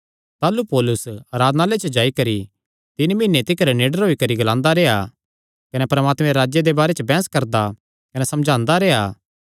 ताह़लू पौलुस आराधनालय च जाई करी तीन मीहने तिकर निडर होई करी ग्लांदा रेह्आ कने परमात्मे दे राज्जे दे बारे च बैंह्स करदा कने समझांदा रेह्आ